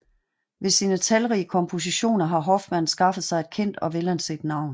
Ved sine talrige kompositioner har Hofmann skaffet sig et kendt og velanset navn